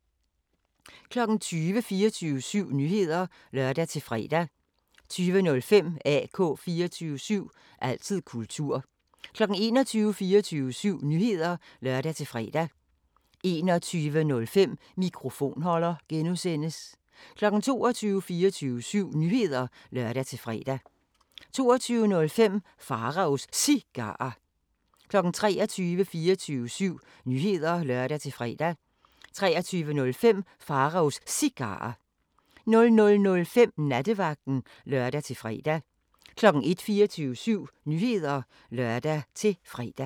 20:00: 24syv Nyheder (lør-fre) 20:05: AK 24syv – altid kultur 21:00: 24syv Nyheder (lør-fre) 21:05: Mikrofonholder (G) 22:00: 24syv Nyheder (lør-fre) 22:05: Pharaos Cigarer 23:00: 24syv Nyheder (lør-fre) 23:05: Pharaos Cigarer 00:05: Nattevagten (lør-fre) 01:00: 24syv Nyheder (lør-fre)